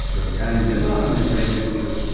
Yəni nə vaxtdan bəri bura gəlib-gedirsən?